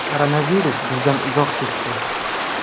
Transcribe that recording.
Koronavirus bizdan uzoq ketdi.